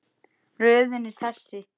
Röðin er þessi